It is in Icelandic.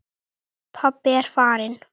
Pabbi er farinn.